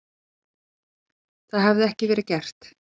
Það hefði ekki verið gert